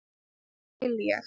Það vil ég.